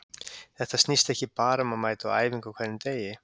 Þetta snýst ekki bara um að mæta á æfingu á hverjum degi.